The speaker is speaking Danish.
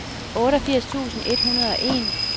otteogfirs tusind et hundrede og en